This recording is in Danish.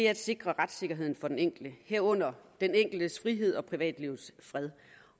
at sikre retssikkerheden for den enkelte herunder den enkeltes frihed og privatlivets fred